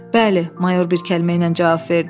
Bəli, mayor bir kəlmə ilə cavab verdi.